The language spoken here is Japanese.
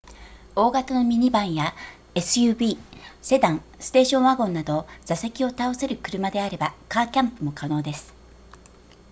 大型のミニバンや suv セダンステーションワゴンなど座席を倒せる車であればカーキャンプも可能です